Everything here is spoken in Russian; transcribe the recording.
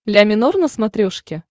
ля минор на смотрешке